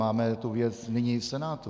Máme tu věc nyní v Senátu.